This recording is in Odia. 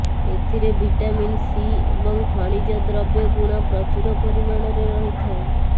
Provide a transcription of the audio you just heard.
ଏଥିରେ ଭିଟାମିନ ସି ଏବଂ ଖଣିଜ ଦ୍ରବ୍ୟଗୁଣ ପ୍ରଚୁର ପରିମାଣରେ ରହିଥାଏ